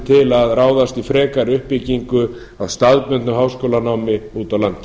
til að ráðast í frekari uppbyggingu á staðbundnu háskólanámi úti á landi